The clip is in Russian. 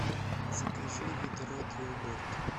закажи ведро для уборки